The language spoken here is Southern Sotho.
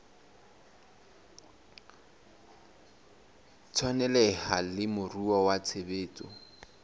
tshwaneleha le moruo wa tshebetso